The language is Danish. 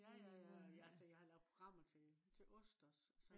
ja ja ja altså jeg har lavet programmer til ost også